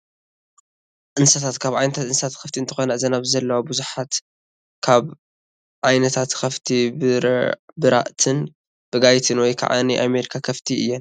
እንስሳታት፡- ካብ ዓይነታት እንስሳት ኸፍቲ እንትኾና እዘን ኣብዚ ዘለዋ ብዙሓት ካብ ዓ/ት ከፍቲ ብራእተን ብጋይት ወይ ከዓ ናይ ኣሜሪካ ከፍቲ እየን፡፡